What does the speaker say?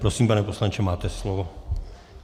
Prosím, pane poslanče, máte slovo.